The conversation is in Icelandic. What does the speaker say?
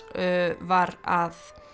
var að